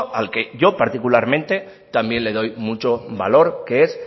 al que yo particularmente también le doy mucho valor que es